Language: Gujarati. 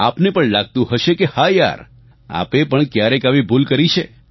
આપને પણ લાગતું હશે કે હા યાર આપે પણ ક્યારેક આવી ભૂલ કરી છે